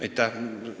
Aitäh!